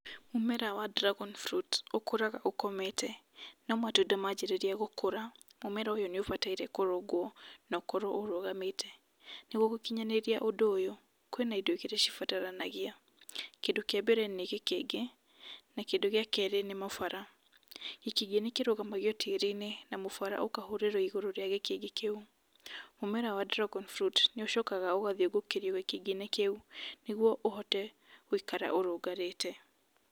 Mũmera wa dragon fruit ũkũraga ũkomete, no matunda manjĩrĩria gũkũra, mũmera ũyũ nĩ ũbataire kũrũngwo na ũkorwo ũrũgamite. Nĩguo gũkinyanĩria ũndũ ũyũ kwĩna indo igĩrĩ cibaranagia. Kĩndũ kĩa mbere nĩ gĩkĩngĩ na kĩndũ gĩa kerĩ nĩ mũbara. Gĩkĩngĩ nĩ kĩrugamagio tĩĩriinĩ na mũbara ũkahũrĩrwo ĩgũrũ wa gĩkĩngĩ kĩu. Mũmera wa dragon fruit nĩ ũcokaga ũgathingũkĩrio gĩtingĩ-inĩ kĩu, nĩguo ũhote gũikara ũrũgamĩte.